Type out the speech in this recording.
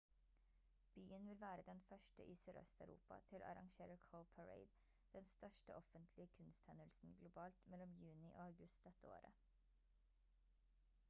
byen vil være den 1. i sør-øst-europa til å arrangere cowparade den største offentlige kunsthendelsen globalt mellom juni og august dette året